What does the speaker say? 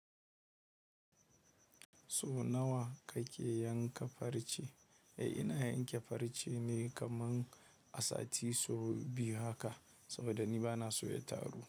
So nawa kake yanka farce? Eh, ina yanke farce ne kaman a sati so biyu haka, saboda ni bana so ya taru.